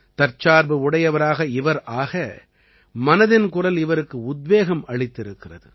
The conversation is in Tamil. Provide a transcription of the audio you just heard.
தற்சார்பு உடையவராக இவர் ஆக மனதின் குரல் இவருக்கு உத்வேகமளித்திருக்கிறது